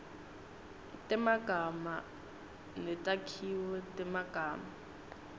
temagama netakhiwo temagama